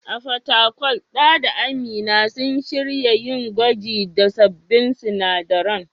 A Fatakwal, Dan da Amina sun shirya yin gwaji da sabbin sinadaran.